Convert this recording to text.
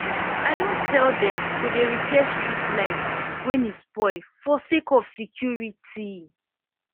i don tel dem to dey repair street light wen e spoil for sake of security